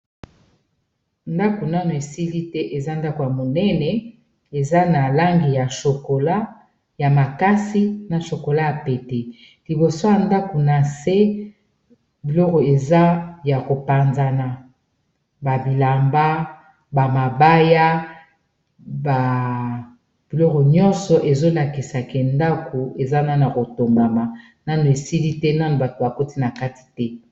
Ndako nano esili te eza ndako ya monene, eza na langi ya sokola ya makasi na shokola ya pete, liboso ya ndako na se biloko eza ya kopanzana babilamba ba mabaya biloko nyonso ezolakisa ke ndako ezana na kotongama nano esili te nano bato bakoti na kati te.